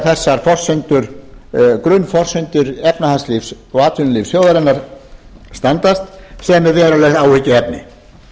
þessar grunnforsendur efnahagslífs og atvinnulífs þjóðarinnar standast sem er verulegt áhyggjuefni